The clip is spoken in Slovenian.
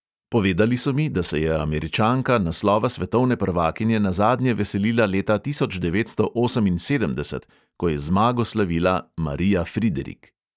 Povedali so mi, da se je američanka naslova svetovne prvakinje nazadnje veselila leta tisoč devetsto oseminsedemdeset, ko je zmago slavila marija friderik.